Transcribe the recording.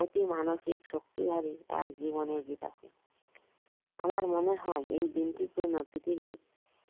অতি মানসিক শক্তিধারী এক জিবনের বিকাশই আমার মনে হয় এই দিনটির জন্যে পৃথিবী